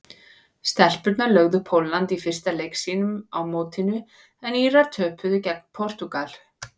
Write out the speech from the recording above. Stelpurnar lögðu Pólland í fyrsta leik sínum á mótinu en Írar töpuðu gegn Portúgal.